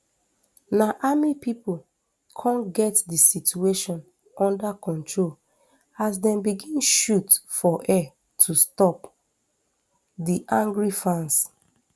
na army pipo come get di situation unda control as dem begin shoot for air to stop di angry fans